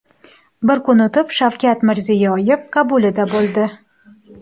Bir kun o‘tib Shavkat Mirziyoyev qabulida bo‘ldi.